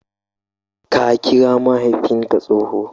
Ka kira mahaifinka tsohon!